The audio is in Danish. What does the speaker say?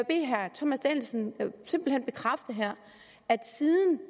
bede herre thomas danielsen simpelt hen bekræfte at siden